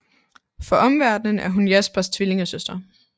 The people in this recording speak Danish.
For omverdenen er hun Jaspers tvillingesøster